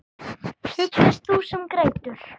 Huggast þú sem grætur.